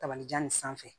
Tabalijan nin sanfɛ